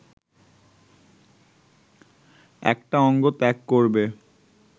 একটা অঙ্গ ত্যাগ করবে